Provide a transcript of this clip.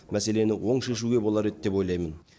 мәселені оң шешуге болар еді деп ойлаймын